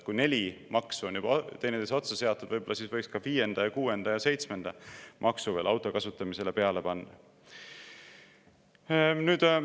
Kui neli maksu on juba teineteise otsa seatud, võib-olla siis võiks ka viienda, kuuenda ja seitsmenda maksu veel auto kasutamisele peale panna?